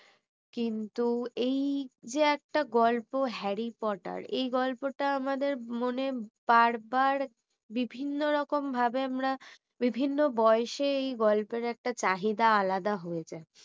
কিন্তু এই যে একটা গল্প harry porter এই গল্পটা আমাদের মনে বারবার বিভিন্ন রকম ভাবে আমরা বিভিন্ন বয়সে এই গল্পের একটা চাহিদা আলাদা হয়ে যায়